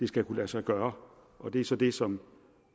skal kunne lade sig gøre og det er så det som